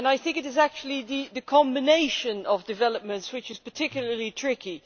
It is actually the combination of developments which is particularly tricky.